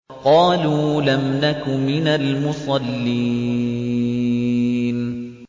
قَالُوا لَمْ نَكُ مِنَ الْمُصَلِّينَ